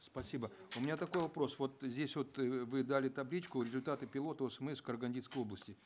спасибо у меня такой вопрос вот здесь вот э вы дали табличку результаты пилота осмс в карагандинской области